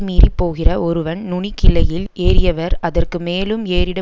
மீறிப் போகிற ஒருவன் நுனிக் கிளையில் ஏறியவர் அதற்கு மேலும் ஏறிட